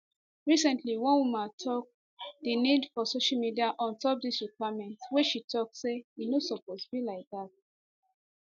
recently one woman ask di nis for social media ontop dis requirement wey she tok say e no suppose be like dat